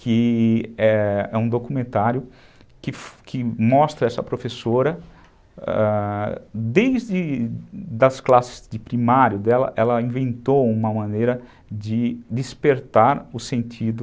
que é um documentário que mostra essa professora, desde das classes de primário dela, ela inventou uma maneira de despertar o sentido